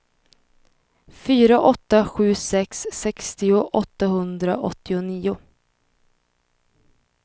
fyra åtta sju sex sextio åttahundraåttionio